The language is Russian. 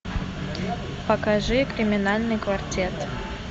покажи криминальный квартет